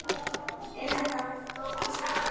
Er þetta flókið starf?